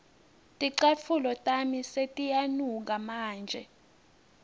ticatfulo tami setiyanuka manje